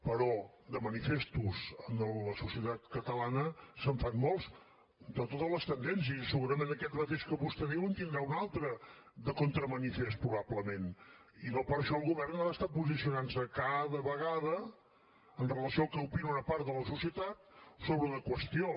però de manifestos en la societat catalana se’n fan molts de totes les tendències i segurament aquest mateix que vostè diu en tindrà un altre de contramanifest probablement i no per això el govern ha d’estar posicionant se cada vegada amb relació al que opina una part de la societat sobre una qüestió